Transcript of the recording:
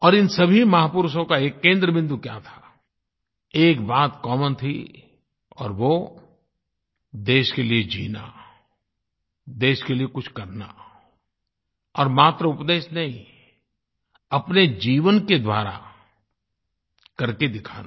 और इन सभी महापुरुषों का एक केंद्रबिंदु क्या था एक बात कॉमन थी और वो देश के लिए जीना देश के लिए कुछ करना और मात्र उपदेश नहीं अपने जीवन के द्वारा करके दिखाना